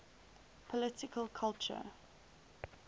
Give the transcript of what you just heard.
political culture